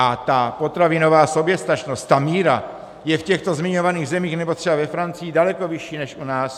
A ta potravinová soběstačnost, ta míra je v těchto zmiňovaných zemích nebo třeba ve Francii daleko vyšší než u nás.